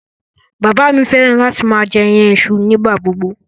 Bàbá mi fẹ́ràn láti máa jẹ iyan iṣu nígbà gbogbo.